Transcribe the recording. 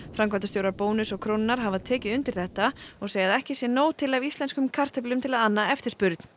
framkvæmdastjórar Bónus og Krónunnar hafa tekið undir þetta og segja að ekki sé nóg til af íslenskum kartöflum til að anna eftirspurn